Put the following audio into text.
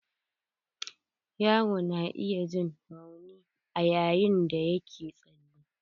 Yaro na iya jin rauni ayayin da yake tsale.